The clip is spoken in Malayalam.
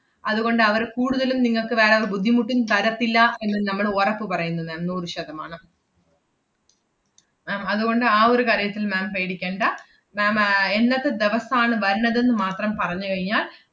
അതുകൊണ്ട് അവർ കൂടുതലും നിങ്ങക്ക് വേറെ ഒരു ബുദ്ധിമുട്ടും തരത്തില്ല എന്ന് നമ്മള് ഒറപ്പ് പറയുന്നു ma'am നൂറ് ശതമാനം ma'am അതുകൊണ്ട് ആ ഒരു കാര്യത്തിൽ ma'am പേടിക്കേണ്ട. ma'am ആഹ് എന്നത്തെ ദെവസം ആണ് വരണത് ~ന്ന് മാത്രം പറഞ്ഞു കഴിഞ്ഞാല്‍